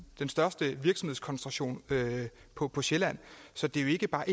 den største virksomhedskoncentration på på sjælland så det er jo ikke bare